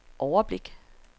overblik